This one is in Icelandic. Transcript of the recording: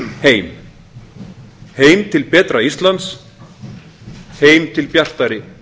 heim heim til betra íslands heim til bjartari